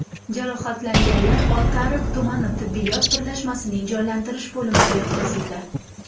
Jarohatlanganlar Oltiariq tumani tibbiyot birlashmasining jonlantirish bo‘limiga yotqizildi.